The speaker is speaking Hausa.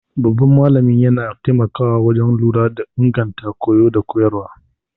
Babban malamin yana taimakawa wajen lura da inganta koyo da koyarwa.